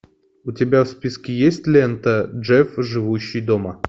у тебя в списке есть лента джефф живущий дома